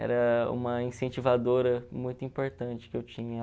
Era uma incentivadora muito importante que eu tinha.